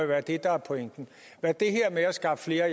være det der er pointen hvad det her med at skaffe flere